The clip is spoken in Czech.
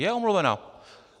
Je omluvena!